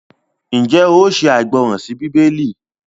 njé oò ṣe aìgbọràn sí Bíbélì?